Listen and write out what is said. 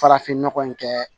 Farafinnɔgɔ in kɛ